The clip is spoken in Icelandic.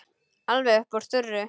Alveg upp úr þurru?